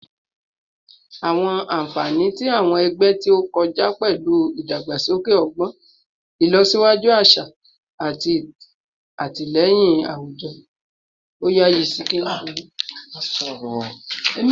Awọn anfani ti awọn ẹgbẹ ti o kọja pẹlu idagbasoke ọgbọn, ilosiwaju aṣa, ati atilẹyin awujọ